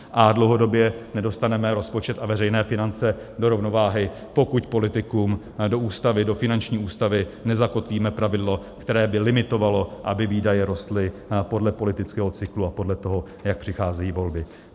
A dlouhodobě nedostaneme rozpočet a veřejné finance do rovnováhy, pokud politikům do ústavy, do finanční ústavy nezakotvíme pravidlo, které by limitovalo, aby výdaje rostly podle politického cyklu a podle toho, jak přicházejí volby.